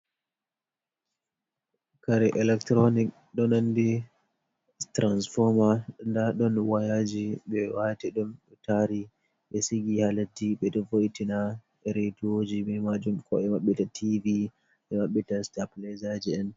kare electronic ɗon nandi transforma nda ɗon wayaji ɓe wati ɗum ɓe tari ɓe sigi halesdi ɓeɗon woitina rediyooji bee majun ko'e mabɓe ɗon tiiɗi ɓe mabbitan sitapilaizaji'en.